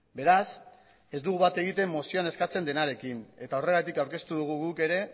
beraz ez dugu bat egiten mozioan eskatzen denarekin eta horregatik aurkeztu dugu guk ere